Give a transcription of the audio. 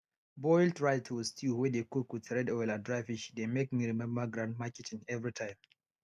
boiled rice with stew wey dey cook with red oil and dry fish dey make me remember grandmama kitchen everytime